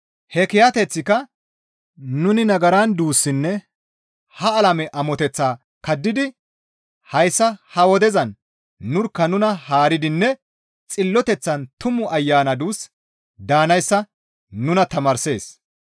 He kiyateththika nuni nagaran duussinne ha alame amoteththaa kaddidi hayssa ha wodezan nurkka nuna haaridinne xilloteththan Tumu Ayana duus daanayssa nuna tamaarssees.